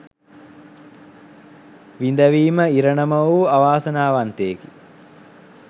විඳවීම ඉරණම වූ අවාසනාවන්තයෙකි.